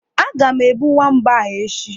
Aga m egbu nwamba ahụ echi.